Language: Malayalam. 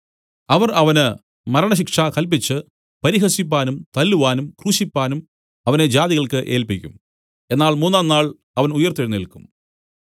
അവർ അവന് മരണശിക്ഷ കല്പിച്ച് പരിഹസിപ്പാനും തല്ലുവാനും ക്രൂശിപ്പാനും അവനെ ജാതികൾക്ക് ഏല്പിക്കും എന്നാൽ മൂന്നാം നാൾ അവൻ ഉയിർത്തെഴുന്നേല്ക്കും